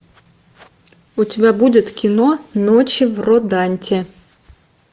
у тебя будет кино ночь в роданте